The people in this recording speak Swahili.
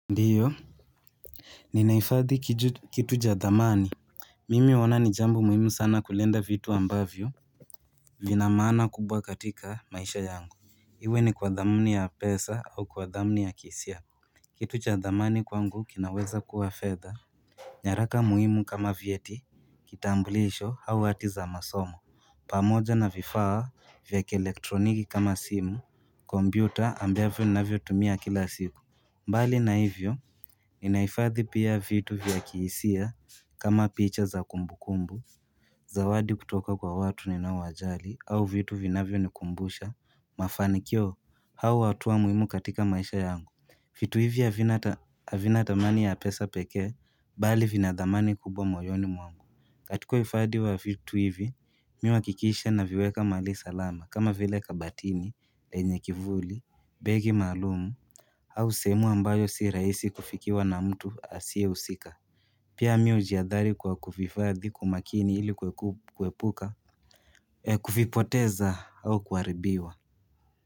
Ndio Ninaifadhi kituja dhamani Mimi huona ni jambo muhimu sana kulinda vitu ambavyo Linamaana kubwa katika maisha yangu Iwe ni kwa dhamni ya pesa au kwa dhamni ya kisia Kitu cha dhamani kwangu kinaweza kuwa fedha nyaraka muhimu kama vyeti kitambulisho au hati za masomo pamoja na vifaa vya kielektroniki kama simu Kombyuta ambia vio na vio tumia kila siku mbali na hivyo, ninaifadhi pia vitu vya kiisia kama picha za kumbu kumbu, za wadi kutoka kwa watu ni naowajali, au vitu vinavyo ni kumbusha, mafanikio, hau watuwa muimu katika maisha yangu vitu hivi havina ata avinatamani ya pesa pekee, bali vinadhamani kubwa moyoni mwangu katika uifadi wa vitu hivi, mi uakikisha na viweka mali salama, kama vile kabatini, lenye kivuli, begi maalum au seemu ambayo si raisi kufikiwa na mtu asie usika. Pia miujiadhari kwa kuvifadhi kwamakini ili kueku kuepuka, kufipoteza au kuaribiwa.